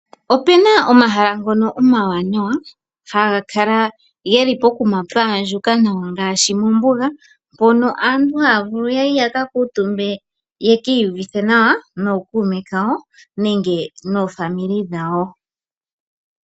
Opuna omahala ngono omawanawa haga kala geli pokuma pwaandjuka nawa ngaashi mombuga mpono aantu haya vulu yaye yakakuutumbe yekiiyuvithe nawa nookuume kawo nenge noofamili dhawo.